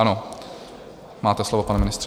Ano, máte slovo, pane ministře.